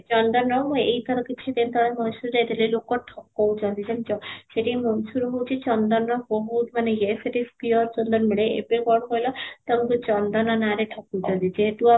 ଚନ୍ଦନ ର ହଉ ଏଇଥର କିଛି ଦିନ ତଳେ Mysore ଯାଇଥିଲି ଲୋକ ମାନେ ଠକଉଛନ୍ତି ଜାଣିଛ ସେଇଠି Mysore ରେ ହାଉଛି ଚନ୍ଦନ ର ବହୁତ ମାନେ ୟେ ସେଠି pure ଚନ୍ଦନ ମିଳେ, ଏବେ କ'ଣ କହିଲ ସେଠି ଚନ୍ଦନ ର ନା ରେ ଠକୁଛନ୍ତି ଯେହେତୁ